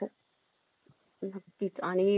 हा तर आता उद्या भेटतो